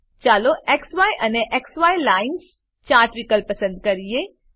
ચાલો ઝાય અને ઝાય લાઇન્સ ચાર્ટ વિકલ્પ પસંદ કરીએ